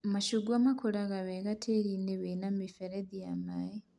Macungwa makũraga wega tĩĩri-inĩ wĩna mĩberethi ya maĩ